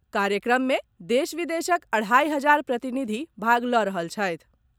कार्यक्रममे देश विदेशक अढ़ाइ हजार प्रतिनिधि भाग लऽ रहल छथि।